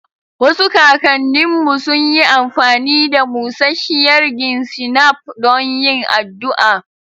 Wasu kakanninmu sun yi amfani da busasshiyar gin shinap don yin addu'a